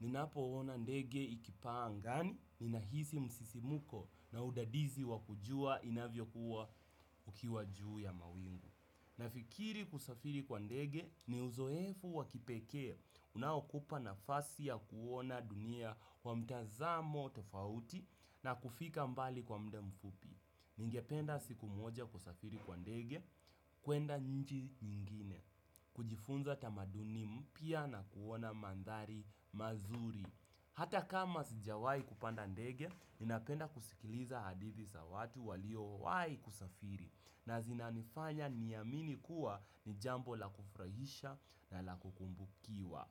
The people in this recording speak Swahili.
ninapoona ndege ikipaa angani, ninahisi msisimuko na udadizi wa kujua inavyokuwa ukiwa juu ya mawingu. Nafikiri kusafiri kwa ndege ni uzoefu wa kipekee unaokupa nafasi ya kuona dunia kwa mtazamo tofauti na kufika mbali kwa mda mfupi. Ningependa siku moja kusafiri kwa ndege, kuenda nji nyingine, kujifunza tamaduni mpya na kuona mandhari mazuri. Hata kama sijawai kupanda ndege, ninapenda kusikiliza hadithi za watu waliowai kusafiri. Na zinanifanya niamini kuwa ni jambo la kufurahisha na la kukumbukiwa.